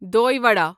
دۄے ودا